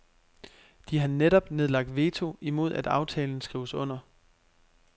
De har netop nedlagt veto imod at aftalen skrives under.